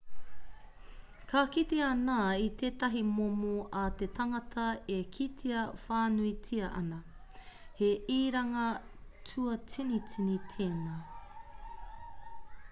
ka kite ana i tētahi momo a te tangata e kitea whānuitia ana he iranga tūātinitini tēnā